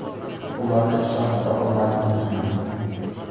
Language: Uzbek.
Ularni ishontira olmadingizmi?